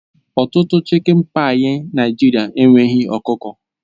Ọtụtụ chịkin páyi Naịjirịa enweghị ọkụkọ